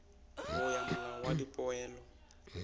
bo ya molao wa dipoelo